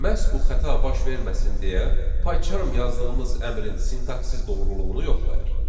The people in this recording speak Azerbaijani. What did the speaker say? Məhz bu xəta baş verməsin deyə PyCharm yazdığımız əmrin sintaksiz doğruluğunu yoxlayır.